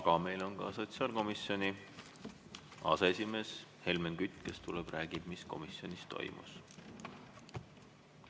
Aga meil on ka sotsiaalkomisjoni aseesimees Helmen Kütt, kes tuleb ja räägib, mis komisjonis toimus.